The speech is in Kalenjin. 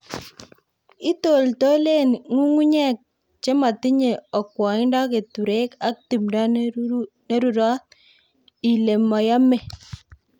"Itoltolen ng'ung'unyek chemotinye okwoindo keturek ak timdo nerurot ilemoyome"